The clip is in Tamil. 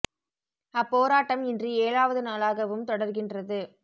அப்போராட்டம் இன்று ஏழாவது நாளாகவும் தொடர்கின்றது